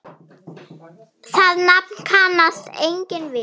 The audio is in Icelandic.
Það nafn kannast enginn við.